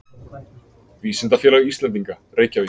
Vísindafélag Íslendinga, Reykjavík.